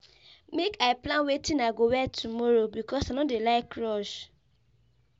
Make I plan wetin I go wear tomorrow because I no dey like rush.